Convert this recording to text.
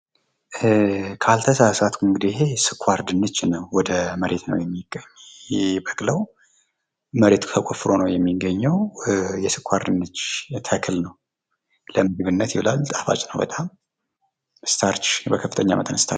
ካልተሳሳትሁ እንግዲህ ስኳር ድንጅ ነዉ። ወደ መሬት ነዉ የሚበቅለዉ መሬት ተቆፍሮ ነዉ የሚገኘዉ። የስኳር ድንች ተክል ነዉ። ለምግብነት ይዉላል። ጣፋጭ ነዉ በጣም ስታርች በከፍተኛ መጠን ስታርች አለዉ።